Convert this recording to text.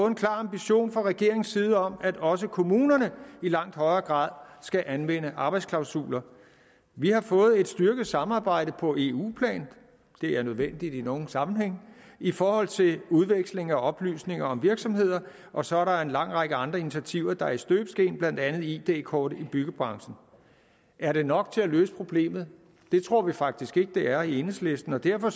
en klar ambition fra regeringens side om at også kommunerne i langt højere grad skal anvende arbejdsklausuler vi har fået et styrket samarbejde på eu plan det er nødvendigt i nogle sammenhænge i forhold til udveksling af oplysninger om virksomheder og så er der en lang række andre initiativer der er i støbeskeen blandt andet id kort i byggebranchen er det nok til at løse problemet det tror vi faktisk ikke det er i enhedslisten og derfor